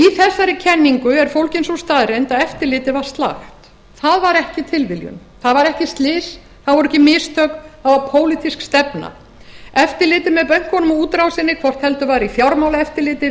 í þessari kenningu er fólgin sú staðreynd að eftirlitið var slakt það var ekki tilviljun það var ekki slys það voru ekki mistök það var pólitísk stefna eftirliti með bönkunum og útrásinni hvort heldur var í fjármálaeftirliti